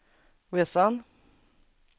resan